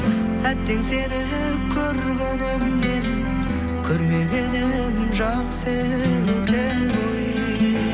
әттең сені көргенімнен көрмегенім жақсы екен ғой